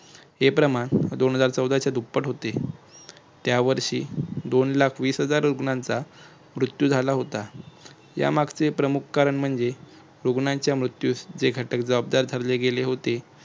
हे प्रमाण दोन हजार चौदाच्या दुप्पट होते. त्या वर्षी दोन लाख वीस हजार रुग्णांचा मृत्यू झाला होता. या मागचे प्रमुख कारण म्हणजे रुग्णांच्या मृत्यूस जे घटक जबाबदार धरले गेले होते. ते